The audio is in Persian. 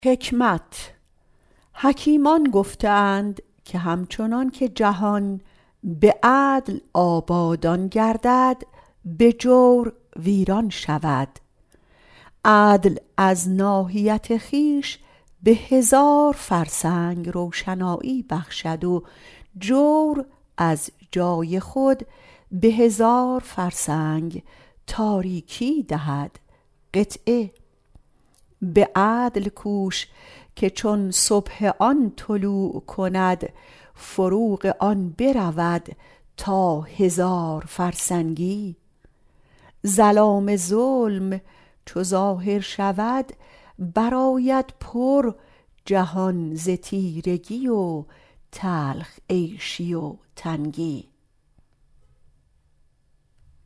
حکیمان گفته اند که همچنان که به عدل جهان آبادان گردد به جور ویران شود عدل از ناحیت خویش به هزار فرسنگ روشنایی بخشد و جور از جای خود به هزار فرسنگ تاریکی دهد به عدل کوش که چون صبح آن طلوع کند فروغ آن برود تا هزار فرسنگی ظلام ظلم چو ظاهر شود برآرد پر جهان ز تیرگی و تلخ عیشی و تنگی